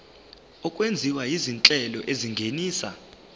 okwenziwa izinhlelo ezingenisa